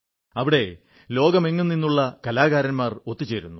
അവിടെ ലോകമെങ്ങും നിന്നുള്ള കാലാകാരൻമാർ ഒത്തു ചേരുന്നു